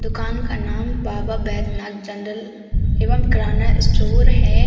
दुकान का नाम बाबा बैद्यनाथ जनरल एवं किराना स्टोर है।